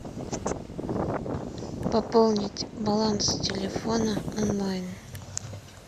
пополнить баланс телефона онлайн